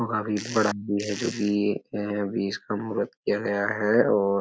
जो काफी बड़ा भी है जो भी एक है बेस कम रखा गया है। और --